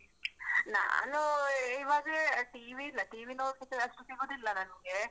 ನಾನು ಇವಾಗ TV ಇಲ್ಲ, TV ನೋಡ್ಲಿಕ್ಕಷ್ಟು ಸಿಗುದಿಲ್ಲ ನಂಗೆ.